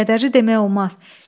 Kədərli demək olmaz.